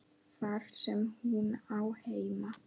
Þar sem hún á heima.